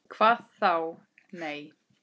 Hvað þá., nei.